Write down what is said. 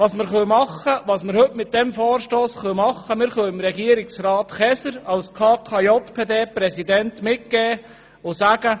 Was wir heute mit diesem Vorstoss tun können, ist, Regierungsrat Käser als KKJPDPräsident mitzugeben und ihm zu sagen: